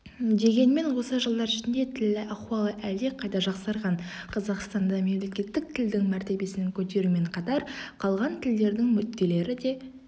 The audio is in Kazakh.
дегенмен осы жылдар ішінде тіл ахуалы әлдеқайда жақсарған қазақстанда мемлекеттік тілдің мәртебесін көтерумен қатар қалған тілдердің мүдделері де